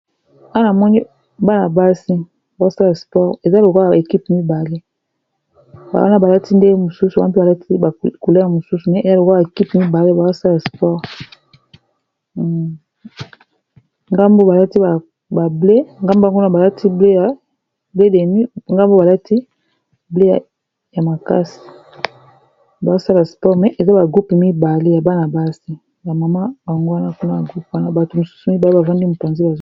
Awa namoni ekipe mibale balati ndenge mosusu wapi balati ba couleur mosusu, balati blen ya makasi bazo sala sport eza ya bana-basi ya mama bango wana kuna ba groupe wana bato mosusu mibale bavandi mopanzi